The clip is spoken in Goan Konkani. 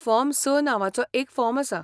फॉर्म स नांवाचो एक फॉर्म आसा.